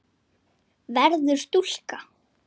Verður stúlka.